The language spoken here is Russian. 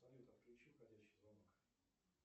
салют отключи входящий звонок